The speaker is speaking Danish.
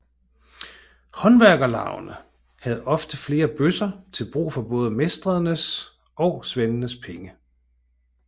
Håndværkerlavene havde ofte flere bøsser til brug for både mestrenes og svendenes penge